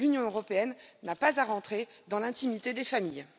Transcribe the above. L'Union européenne n'a pas à entrer dans l'intimité des familles.